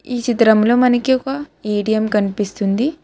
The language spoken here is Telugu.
ఈ చిత్రంలో మనకి ఒక ఏ_టీ_ఎం కనిపిస్తుంది.